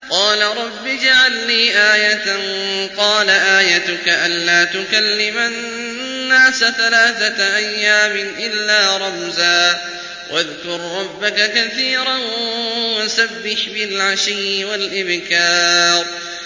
قَالَ رَبِّ اجْعَل لِّي آيَةً ۖ قَالَ آيَتُكَ أَلَّا تُكَلِّمَ النَّاسَ ثَلَاثَةَ أَيَّامٍ إِلَّا رَمْزًا ۗ وَاذْكُر رَّبَّكَ كَثِيرًا وَسَبِّحْ بِالْعَشِيِّ وَالْإِبْكَارِ